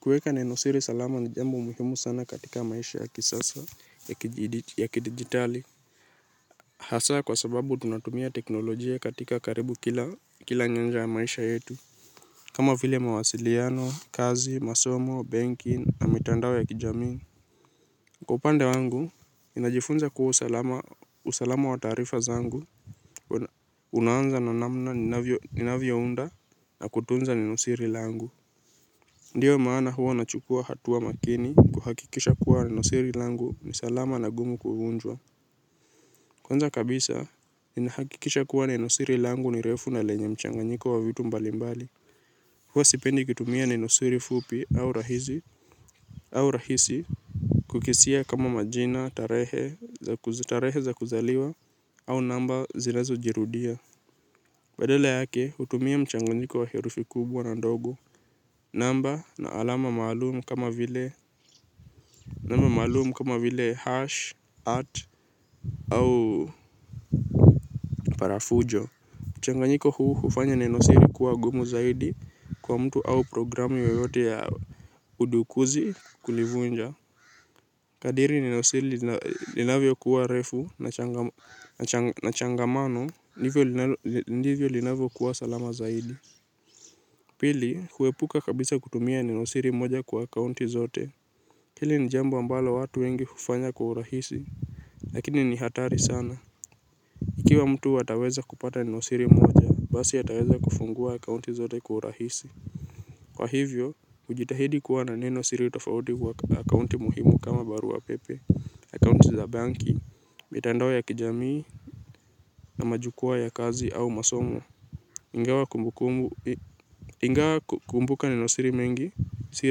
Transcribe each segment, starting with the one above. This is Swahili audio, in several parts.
Kueka nenosiri salama ni jambo muhimu sana katika maisha ya kisasa ya kidigitali. Hasaa kwa sababu tunatumia teknolojia katika karibu kila nyanja ya maisha yetu. Kama vile mawasiliano, kazi, masomo, banki na mitandawo ya kijamii. Kwa upande wangu, ninajifunza kuwa usalama wa tarifa zangu unaanza na namna ninavyo unda na kutunza nenosiri la angu. Ndiyo maana huwa nachukua hatuwa makini kuhakikisha kuwa nenosiri langu ni salama na gumu kuvunjwa. Kwanza kabisa, ninahakikisha kuwa nenosiri langu ni refu na lenye mchanganyiko wa vitu mbalimbali. Huwa sipendi kutumia nenosiri fupi au rahisi kukisia kama majina, tarehe za kuzaliwa au namba zinazo jirudia. Badala yake, utumia mchanganyiko wa herufi kubwa na ndogo. Namba na alama maalumu kama vile nama malumu kama vile hash, art au parafujo. Changanyiko huu hufanya nenosiri kuwa gumu zaidi kwa mtu au programi yeyote ya udukuzi kulivunja. Kadiri nenosiri linavyo kuwa refu na changamano ndivyo linavyo kuwa salama zaidi. Pili huwepuka kabisa kutumia nenosiri moja kwa akaunti zote hili nijambo ambalo watu wengi hufanya kuurahisi, lakini ni hatari sana. Ikiwa mtu ataweza kupata nenosiri moja, basi ataweza kufungua akaunti zote kuurahisi. Kwa hivyo, ujitahidi kuwa na neno siri utafauti kwa akaunti muhimu kama barua pepe, akaunti za banki, mitandawo ya kijamii, na majukua ya kazi au masomo. Ingawa kumbukumbu ingawa kumbuka nenosiri mengi si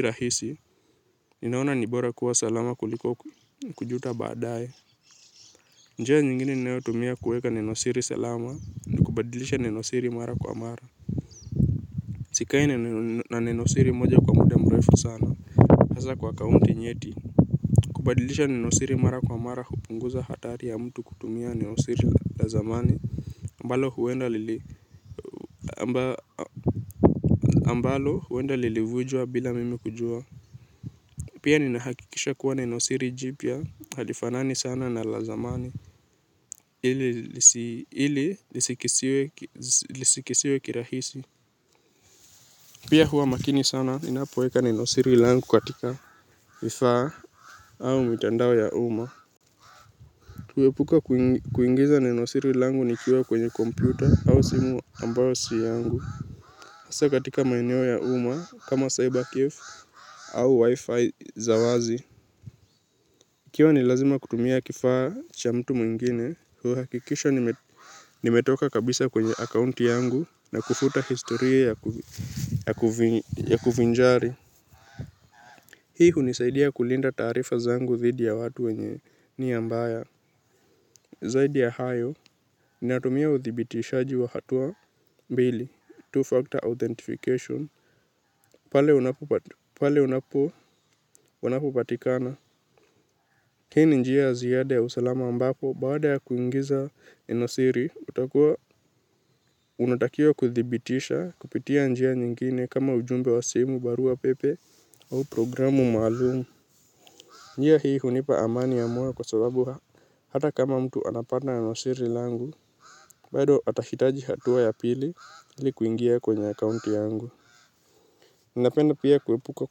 rahisi. Ninaona nibora kuwa salama kuliko kujuta baadae. Njia nyingine ninao tumia kuweka nenosiri salama. Ni kubadilisha nenosiri mara kwa mara. Sikai ne na nenosiri moja kwa muda mrefu sana. Hasa kwa akaunti nyeti. Kubadilisha nenosiri mara kwa mara hupunguza hatari ya mtu kutumia ne nosiri la zamani ambalo huwenda lili ambalo huwenda lili vujua bila mimi kujua. Pia ninahakikisha kuwa nenosiri jipya halifanani sana na la zamani. Ili lisikisiwe kirahisi. Pia hua makini sana ninapoweka nenosiri langu katika vifaa au mitandao ya uma. Tuwepuka kuingiza nenosiri langu nikiwa kwenye kompyuta au simu ambayo siyangu. Asa katika maeneo ya uma kama cyber cave au wifi zawazi. Ikiwa ni lazima kutumia kifaa cha mtu mwingine, huu hakikisha nimetoka kabisa kwenye akaunti yangu na kufuta historia ya kuvinjari. Hii hunisaidia kulinda tarifa zangu thidi ya watu wenye nia mbaya. Zaidi ya hayo, naitumia uthibitishaji wa hatua mbili, two-factor authentication, pale unapopo wanapopatikana. Hii ni njia ziyada ya usalama ambako baada ya kuingiza nenosiri utakua unatakiwa kuthibitisha kupitia njia nyingine kama ujumbe wa simu barua pepe au programu malumu. Njia hii hunipa amani ya moyo kwa sababu hata kama mtu anapata nenosiri langu bado hatahitaji hatua ya pili ili kuingia kwenye account yangu. Nindapenda pia kuwepuka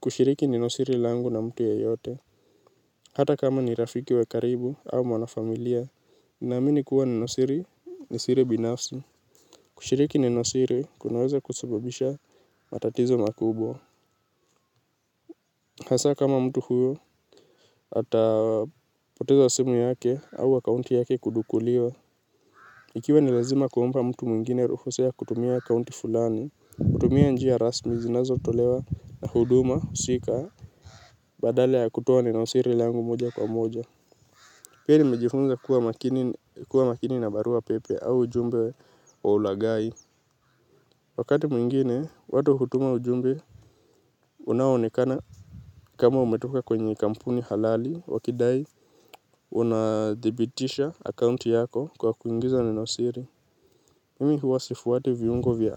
kushiriki ne nosiri langu na mtu yeyote. Hata kama ni rafiki wakaribu au mwanafamilia ninaamini kuwa nenosiri ni siri binafsi. Kushiriki nenosiri kunaweza kusababisha matatizo makubwa. Hasa kama mtu huyu atapoteza simu yake au akaunti yake kudukuliwa. Ikiwa nilazima kuumpa mtu mwingine ruhusa ya kutumia accounti fulani, kutumia njia rasmi zinazo tolewa na huduma, husika, badala ya kutowa neno siri langu moja kwa moja. Pia ni mejifunza kuwa makini na barua pepe au ujumbe wa ulagai. Wakati mwingine, watu hutuma ujumbe, unaonekana kama umetoka kwenye kampuni halali, wakidai, unadhibitisha accounti yako kwa kuingiza neno siri. Mimi huwa sifuwati viungo vya ai.